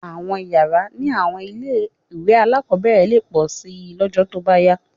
Àwọn yàrá ní àwọn ilé-ìwé alákọ̀ọ́bẹ̀rẹ̀ lè pọ̀ síi lọ́jọ́ tó bá yá